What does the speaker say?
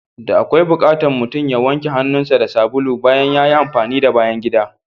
Da akwai bukatan mutum ya wanke hannun sa da sabulu bayan yayi amfani da bayan gida.